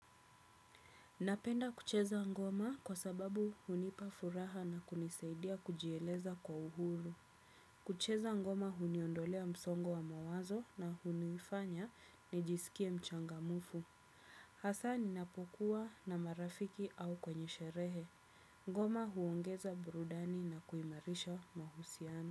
Napenda kucheza ngoma kwa sababu hunipa furaha na kunisaidia kujieleza kwa uhuru. Kucheza ngoma huniondolea msongo wa mawazo na hunifanya nijisikie mchangamufu. Hasaa ninapokuwa na marafiki au kwenye sherehe. Ngoma huongeza burudani na kuimarisha mahusiano.